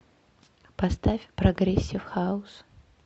поставь прогрессив хаус